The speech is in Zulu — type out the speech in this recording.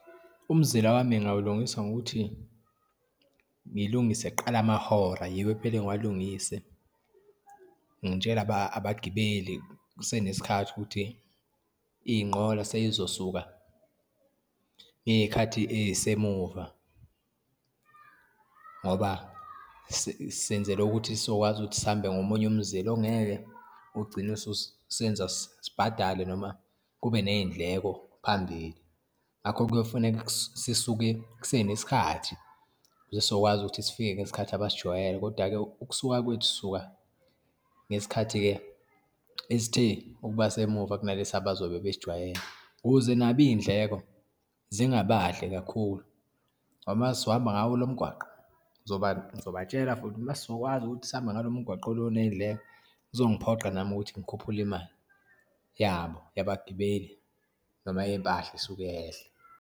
Umzila wami ngawulungiswa ngokuthi, ngilungise kuqala amahora, yiyo ekumele ngiwalungise, ngitshele abagibeli kusenesikhathi ukuthi iyinqola seyizosuka ngeyikhathi eyisemuva, ngoba senzela ukuthi sizokwazi ukuthi sihambe ngomunye umzila ongeke ugcine ususenza sibhadale noma kube neyindleko phambili. Ngakho kuyofuneka sisuke kusenesikhathi ukuze sizokwazi ukuthi sifike ngesikhathi abasijwayele. Kodwa-ke ukusuka kwethu sisuka ngesikhathi-ke esithe ukuba semuva kunalesi abazobe besijwayele ukuze nabo iyindleko zingabadli kakhulu ngoba uma sohamba ngawo lo mgwaqo, ngizobatshela futhi uma sokwazi ukuthi sihambe ngalo mgwaqo lo oneyindleko kuzongiphoqa nami ukuthi ngikhuphule imali yabo, yabagibeli noma eyeyimpahla isuke yehle.